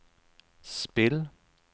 spill